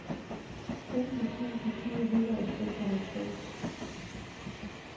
femten tusind fire hundrede og seksoghalvfems